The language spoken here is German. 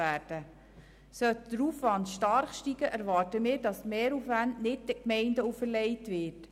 Sollte der Aufwand stark zunehmen, erwarten wir, dass die Mehraufwände nicht den Gemeinden auferlegt werden.